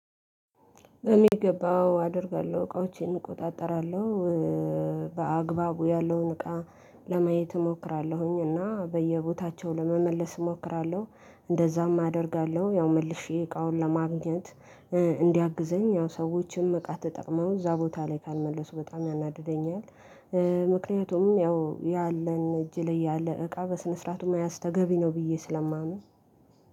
በሚገባ አዎ አደርጋለሁ እቃዎቼን እቆጣጠራለሁ። በአግባቡ ያለውን እቃ ለማየት እሞክራለሁኝ እና በየቦታቸው ለመመለስ እሞክራለሁ እንደዛም አደርጋለሁ። ያው መልሼ እቃውን ለማግኘት እንዲያግዘኝ ያው ሰዎችም እቃ ተጠቅመው እዛ ቦታ ላይ ካልመለሱ በጣም ያናድደኛል። ምክንያቱም ያው ያለን እጅ ላይ ያለ እቃ በስነ ስርዓቱ መያዝ ተገቢ ነው ብዬ ስለማመን።